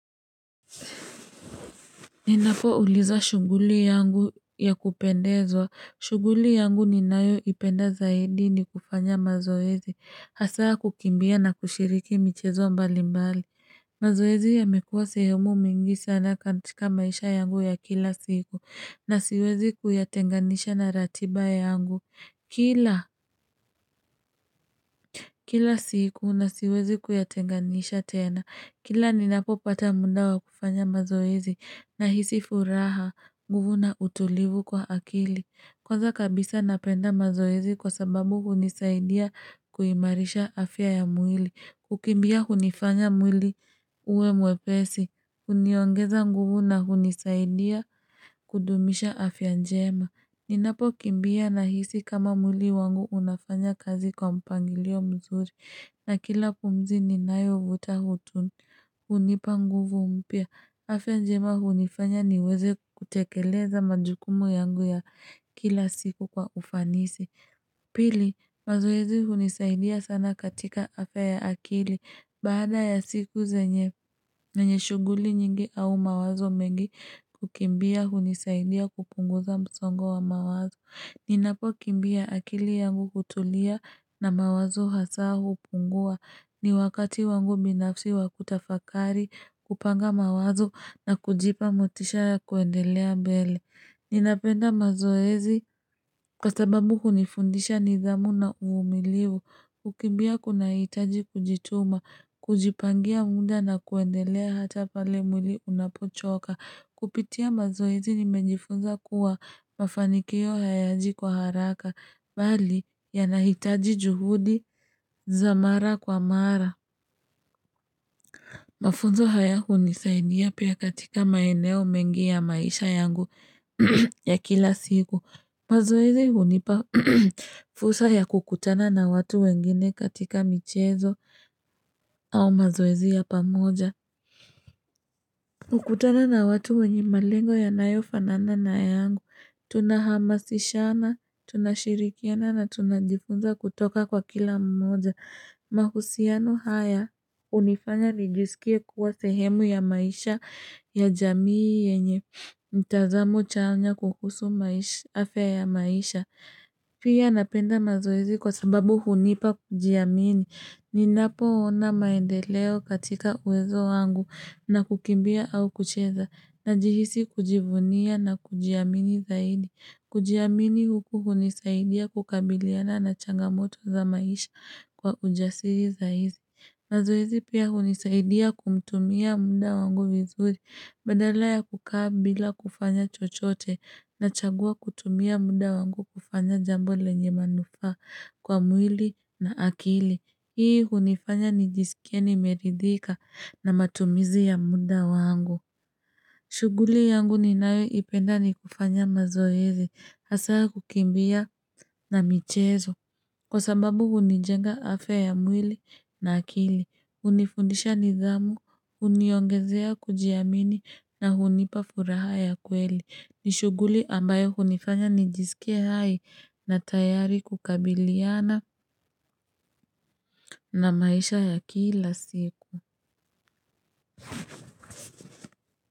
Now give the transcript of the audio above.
Ninapoulizwa shughuli yangu ya kupendezwa. Shughuli yangu ninayoipenda zaidi ni kufanya mazoezi. Hasa kukimbia na kushiriki michezo mbalimbali. Mazoezi yamekuwa sehemu mingi sana katika maisha yangu ya kila siku, na siwezi kuyatenganisha na ratiba yangu. Kila, kila siku, na siwezi kuya tenganisha tena. Kila ninapopata muda wa kufanya mazoezi, nahisi furaha, nguvu na utulivu kwa akili. Kwanza kabisa napenda mazoezi kwa sababu hunisaidia kuimarisha afya ya mwili. Kukimbia hunifanya mwili uwe mwepesi. Huniongeza nguvu na hunisaidia kudumisha afya njema. Ninapokimbia nahisi kama mwili wangu unafanya kazi kwa mpangilio mzuri. Na kila pumzi ninayovuta hutu hunipa nguvu mpya. Afya njema hunifanya niweze kutekeleza majukumu yangu ya kila siku kwa ufanisi. Pili, mazoezi hunisaidia sana katika afya ya akili. Baada ya siku zenye zenye shughuli nyingi au mawazo mengi, kukimbia hunisaidia kupunguza msongo wa mawazo. Ninapokimbia akili yangu hutulia na mawazo hasa hupungua. Ni wakati wangu binafsi wa kutafakari, kupanga mawazo na kujipa motisha ya kuendelea mbele. Ninapenda mazoezi kwa sababu hunifundisha nidhamu na uvumilivu Kukimbia kunahitaji kujituma, kujipangia muda na kuendelea hata pale mwili unapochoka. Kupitia mazoezi nimejifunza kuwa mafanikio hayaji kwa haraka, bali yanahitaji juhudi za mara kwa mara Mafunzo haya hunisaidia pia katika maeneo mengi ya maisha yangu ya kila siku. Mazoezi hunipa fursa ya kukutana na watu wengine katika michezo au mazoezi ya pamoja. Kukutana na watu wenye malengo yanayofanana na yangu, tunahamasishana, tunashirikiana na tunajifunza kutoka kwa kila mmoja. Mahusiano haya hunifanya nijisikie kuwa sehemu ya maisha ya jamii yenye mtazamo chanya kuhusu afya ya maisha. Pia napenda mazoezi kwa sababu hunipa kujiamini. Ninapoona maendeleo katika uwezo wangu na kukimbia au kucheza najihisi kujivunia na kujiamini zaidi. Kujiamini huku hunisaidia kukabiliana na changamoto za maisha kwa ujasiri zaidi. Mazoezi pia hunisaidia kumtumia muda wangu vizuri badala ya kukaa bila kufanya chochote nachagua kutumia muda wangu kufanya jambo lenye manufaa kwa mwili na akili. Hii hunifanya nijisikie nimeridhika na matumizi ya muda wangu. Shughuli yangu ninayoipenda ni kufanya mazoezi hasa kukimbia na michezo kwa sababu hunijenga afya ya mwili na akili, hunifundisha nidhamu, huniongezea kujiamini na hunipa furaha ya kweli. Ni shughuli ambayo hunifanya nijisikie hai na tayari kukabiliana na maisha ya kila siku.